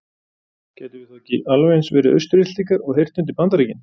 Gætum við þá ekki alveg eins verið Austur-Íslendingar og heyrt undir Bandaríkin?